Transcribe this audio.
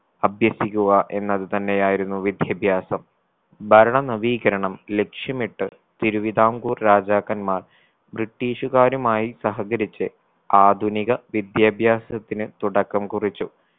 അഭ്യസിക്കുക എന്നത് തന്നെയായിരുന്നു വിദ്യാഭ്യാസം ഭരണ നവീകരണം ലക്ഷ്യമിട്ട് തിരുവിതാംകൂർ രാജാക്കന്മാർ british കാരുമായി സഹകരിച്ച് ആധുനിക വിദ്യാഭ്യാസത്തിന് തുടക്കം കുറിച്ചു